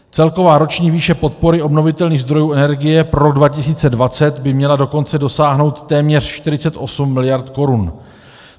Celková roční výše podpory obnovitelných zdrojů energie pro rok 2020 by měla dokonce dosáhnout téměř 48 mld. korun.